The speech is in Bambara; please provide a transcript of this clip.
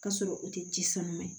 K'a sɔrɔ u tɛ ji sanuya